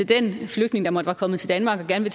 den flygtning der måtte være kommet til danmark og gerne